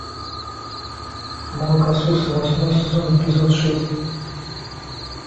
молокососы восьмой сезон эпизод шесть